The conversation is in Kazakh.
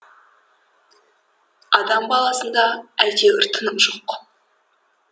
адам баласында әйтеуір тыным жоқ